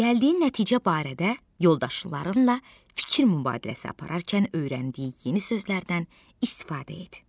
Gəldiyin nəticə barədə yoldaşlarınla fikir mübadiləsi apararkən öyrəndiyi yeni sözlərdən istifadə et.